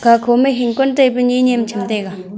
aga kho ma hing kon taipe ni nyem tham taiga.